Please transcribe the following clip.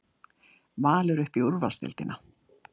Valur upp í úrvalsdeildina